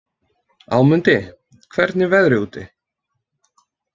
Ámundi, hvernig er veðrið úti?